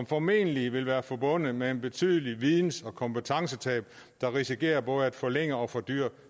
formentlig vil være forbundet med et betydeligt videns og kompetencetab der risikerer både at forlænge og fordyre